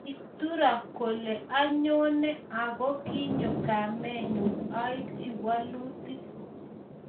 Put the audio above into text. Kituro kole ayoenee akokinyo kamenyu aibchi walutik